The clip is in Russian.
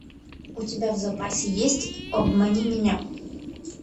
у тебя в запасе есть обмани меня